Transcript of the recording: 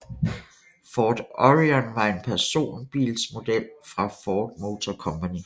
Ford Orion var en personbilsmodel fra Ford Motor Company